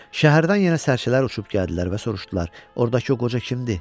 Şəhərdən yenə sərçələr uçub gəldilər və soruşdular: “Oradakı o qoca kimdir?”